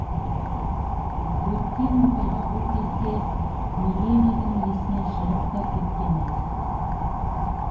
өткен оқиға бұл кезде миледидің есінен шығып та кеткен ед